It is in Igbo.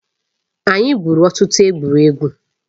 Anyị gwụrụ ọtụtụ egwuregwu